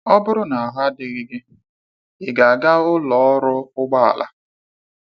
Ọ bụrụ na ahụ adịghị gị, ịga aga ụlọ ọrụ ụgbọala?